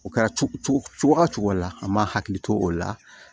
O kɛra cogo cogo la an m'a hakili to o la